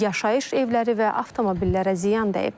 Yaşayış evləri və avtomobillərə ziyan dəyib.